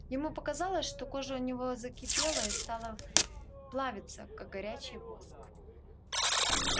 ему показалось что кожа у него закипела и стала плавиться как горячий воск